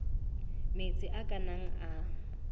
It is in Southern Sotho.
metsi a ka nnang a